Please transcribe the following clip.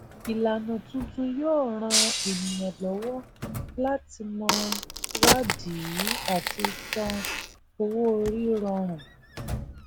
ìlànà tuntun yóò ràn ènìyàn lówọ láti mọ wádìí àti san owó orí rọrùn